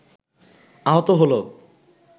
আহত হল